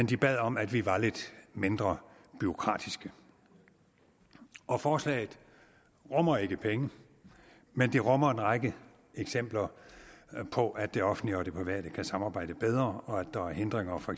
de bad om at vi var lidt mindre bureaukratiske og forslaget rummer ikke penge men det rummer en række eksempler på at det offentlige og det private kan samarbejde bedre og at der er hindringer for